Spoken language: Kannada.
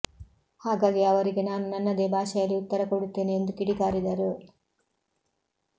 ಹಾಗಾಗಿ ಅವರಿಗೆ ನಾನು ನನ್ನದೇ ಭಾಷೆಯಲ್ಲಿ ಉತ್ತರ ಕೊಡುತ್ತೇನೆ ಎಂದು ಕಿಡಿಕಾರಿದರು